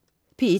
P1: